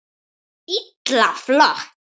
Illa flott!